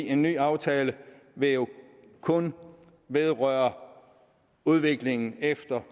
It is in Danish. en ny aftale vil jo kun vedrøre udviklingen efter